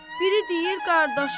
Biri deyir qardaşımı?